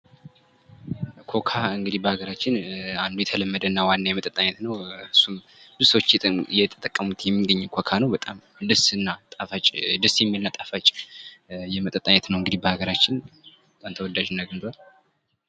ኮካ እንግዲህ በሀገራችን በጣም አንዱ እና ዋና የመጠጥ አይነት ነው። እሱም ሰዎች እየተጠቀሙት የሚገኝ ኮካ ነው ።በጣም ደስ የሚል እና ጥፋጭ የመጠጥ አይነት ነው። እንግዲህ በሀገራችን በጣም ተወዳጅነትና አግኝቷል።